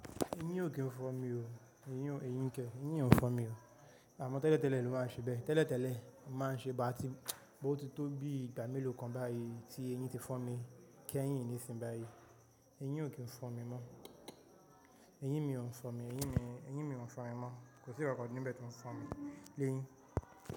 Eyin o kin fọn mi o, eyin o, eyin nké, eyin o n fọn mi o, àmọ́ tẹ́lẹ̀ tẹ́lẹ̀ ni o máa ń ṣe bẹ́ẹ̀. Tẹ́lẹ̀ tẹ́lẹ̀ máa ń ṣe, bàtí but ó ti tó bí ìgbà mélòó kan báyìí tí eyin ti fọmi, keyín nísìn báyìí. Eyin o kin n fọ mi mọ́, eyín mi o n fọ mi, eyín mi o n fọ mi mọ́. Kò sí nǹkan kan níbẹ̀ tó ń fọmi. Lẹ́yìn.